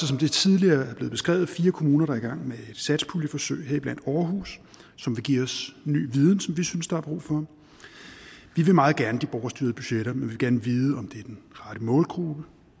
som det tidligere er blevet beskrevet fire kommuner der er i gang med et satspuljeforsøg heriblandt aarhus som vil give os ny viden som vi synes der er brug for vi vil meget gerne de borgerstyrede budgetter men vi vil gerne vide om det er den rette målgruppe